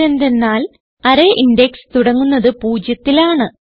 ഇതെന്തന്നാൽ array index തുടങ്ങുന്നത് പൂജ്യത്തിൽ ആണ്